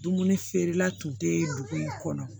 Dumuni feerela tun tɛ dugu in kɔnɔ